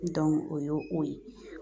o y'o o ye